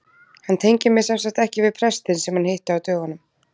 Hann tengir mig semsagt ekki við prestinn sem hann hitti á dögunum.